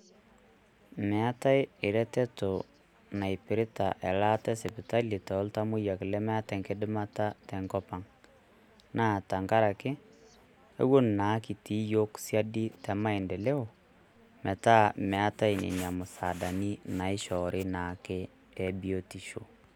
Meetae eretoto naipirita elaata esipitali toltamoyiak lemeeta eng'idimata tenkop ang'. Naa tengaraki keton kitii iyiok sidai te maendeleo, metaa meetae Nena musaadani naishori naake ebiotisho.